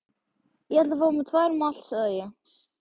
Ég ætla að fá tvær malt, sagði ég.